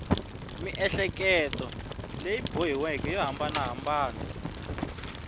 miehleketo leyi boxiweke yo hambanahambana